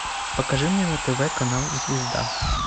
покажи мне на тв канал звезда